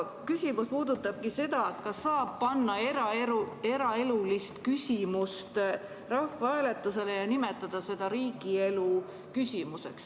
Küsimus puudutabki seda, kas saab panna eraelulist küsimust rahvahääletusele ja nimetada seda riigielu küsimuseks.